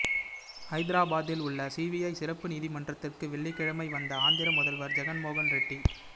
ஹைதராபாதில் உள்ள சிபிஐ சிறப்பு நீதிமன்றத்துக்கு வெள்ளிக்கிழமை வந்த ஆந்திர முதல்வா் ஜெகன்மோகன் ரெட்டி